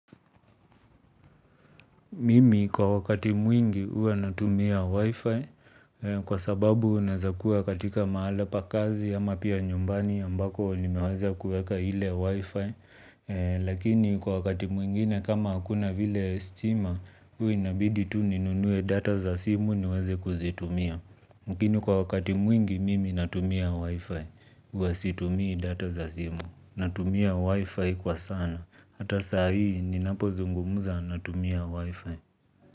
Mimi kwa wakati mwingi ua natumia wifi kwa sababu unazakua katika mahala pa kazi ama pia nyumbani ambako nimewaza kueka hile wifi. Lakini kwa wakati mwingine kama hakuna vile stima ua inabidi tu ninunue data za simu niweze kuzitumia. Mkini kwa wakati mwingi mimi natumia wifi uasitumia data za simu. Natumia wifi kwa sana. Hata saa hii ni napo zungumuza na tumia wifi.